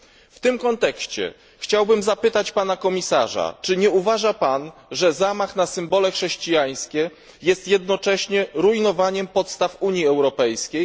W tym kontekście chciałbym zapytać pana komisarza czy nie uważa pan, że zamach na symbole chrześcijańskie jest jednocześnie rujnowaniem podstaw Unii Europejskiej?